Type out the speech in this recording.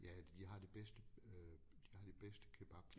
Ja de har det bedste øh de har det bedste kebab